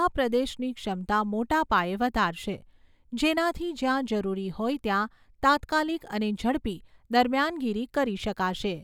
આ પ્રદેશની ક્ષમતા મોટા પાયે વધારશે, જેનાથી જ્યાં જરૂરી હોય ત્યાં તાત્કાલિક અને ઝડપી દરમિયાનગીરી કરી શકાશે.